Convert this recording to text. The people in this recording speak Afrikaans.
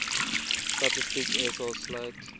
statistiek sa sluit